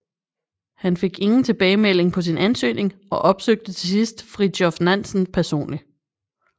Han fik ingen tilbagemelding på sin ansøgning og opsøgte til sidst Fridtjof Nansen personlig